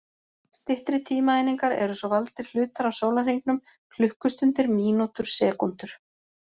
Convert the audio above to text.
Styttri tímaeiningar eru svo valdir hlutar af sólarhringum: klukkustundir, mínútur, sekúndur.